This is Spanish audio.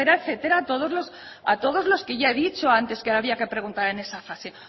etcétera etcétera a todos los que ya he dicho antes que había que preguntar en esa fase